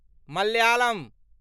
Malayalam